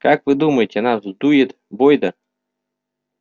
как вы думаете она вздует бойда